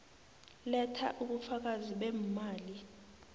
letha ubufakazi beemali